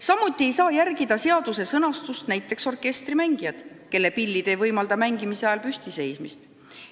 Samuti ei saa seaduses sätestatut järgida näiteks orkestrimängijad, kelle pillid ei võimalda mängimise ajal püstiseismist.